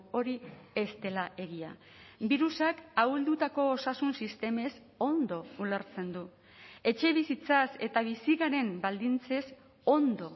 hori ez dela egia birusak ahuldutako osasun sistemez ondo ulertzen du etxebizitzaz eta bizi garen baldintzez ondo